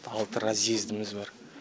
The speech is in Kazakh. алты разъездіміз бар